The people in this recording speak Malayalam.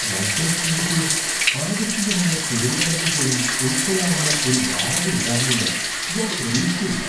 വൺ പ്ലസ് ടിവിക്ക് ആകസ്മികമായ കേടുപാടുകൾ പോലും ഉൾക്കൊള്ളാവുന്ന ഒരു വാറന്റി ഉണ്ടാകുമെന്ന് ഞാൻ പ്രതീക്ഷിച്ചേയില്ല.